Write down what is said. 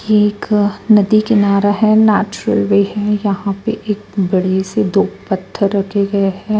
ये एक नदी किनारा है नेचुरल वे है यहाँ पे एक बड़े से दो पत्थर रखे गए हैं।